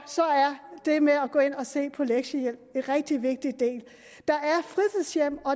er det med at gå ind og se på lektiehjælp en rigtig vigtig del